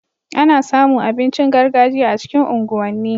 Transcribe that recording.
Ana samu abincin gargajiya a cikin unguwan ni